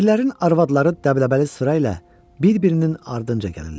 Perlərin arvadları dəbdəbəli sıra ilə bir-birinin ardınca gəlirlər.